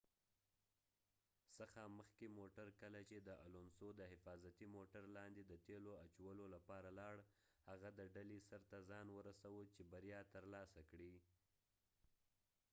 کله چې د الونسو alonso څخه مخکې موټر د حفاظتی موټر لاندې د تیلو اجولولپاره لاړ هغه د ډلې سر ته ځان ورسوه چې بریا تر لاسه کړي